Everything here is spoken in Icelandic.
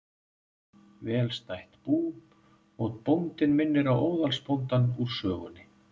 Velstætt bú, og bóndinn minnir á óðalsbóndann úr sögunni.